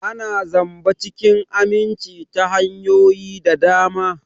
Ana zamba cikin aminci ta hanyoyi da dama.